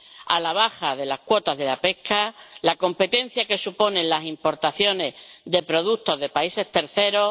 a la baja de las cuotas de pesca y la competencia que suponen las importaciones de productos de países terceros.